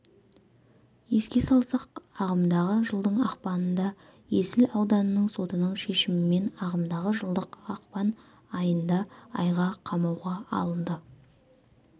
еске салсақ ағымдағы жылдың ақпанында есіл ауданының сотының шешімімен ағымдағы жылдың ақпан айында айға қамауға алынды